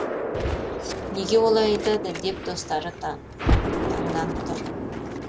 неге олай айтады деп достары таңданып тұр